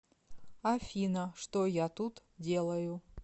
афина что я тут делаю